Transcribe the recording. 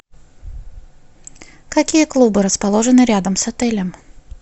какие клубы расположены рядом с отелем